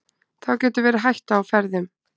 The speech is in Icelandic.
þá getur verið hætta á ferðum